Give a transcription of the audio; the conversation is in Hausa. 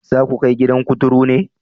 Za ku kai gidan kuturu ne?